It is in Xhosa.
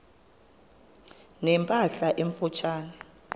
ne mpahla emfutshane